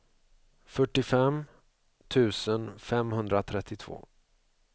fyrtiofem tusen femhundratrettiotvå